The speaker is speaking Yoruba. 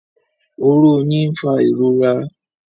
Oró oyin n'fa ìrora